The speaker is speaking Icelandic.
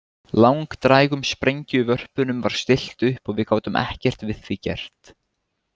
Langdrægum sprengjuvörpunum var stillt upp og við gátum ekkert við því gert.